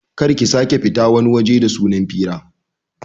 Kar ki sake fita wani waje da sunan fira